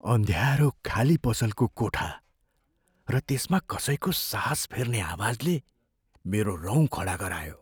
अँध्यारो खाली पसलको कोठा र त्यसमा कसैको सास फेर्ने आवाजले मेरो रौँ खडा गरायो।